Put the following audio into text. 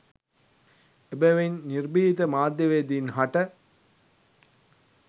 එබැවින් නිර්භීත මාධ්‍යවේදීන් හට